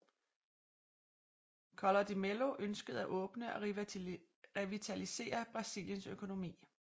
Collor de Mello ønskede at åbne og revitalisere Brasiliens økonomi